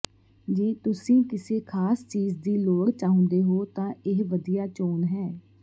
ਜੇ ਤੁਸੀਂ ਕਿਸੇ ਖਾਸ ਚੀਜ਼ ਦੀ ਲੋੜ ਚਾਹੁੰਦੇ ਹੋ ਤਾਂ ਇਹ ਵਧੀਆ ਚੋਣ ਹੈ